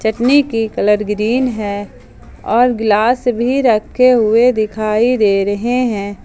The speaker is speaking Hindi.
नी की कलर ग्रीन है और गिलास भी रखे हुए दिखाई दे रहे हैं।